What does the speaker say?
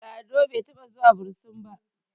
Lado bai taɓa zuwa bursin ba